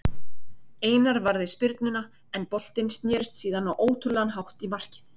Einar varði spyrnuna en boltinn snérist síðan á ótrúlegan hátt í markið.